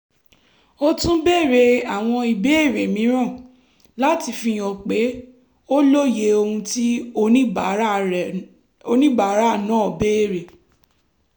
ó tún béèrè àwọn ìbéèrè mìíràn láti fihàn pé ó lóye ohun tí oníbàárà náà béèrè